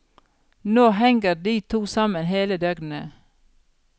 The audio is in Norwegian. Nå henger de to sammen hele døgnet.